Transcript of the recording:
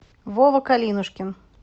вова калинушкин